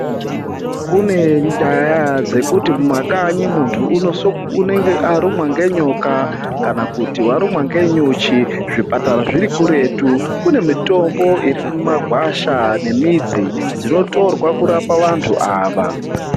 Kune nyaya dzekuti mumakanyi muntu unenge arumwa ngenyoka kana kuti warumwa ngenyuchi zvipatara zviri kuretu kune mitombo iri mumagwasha nemidzi dzinotorwa kurapa bmvantu ava.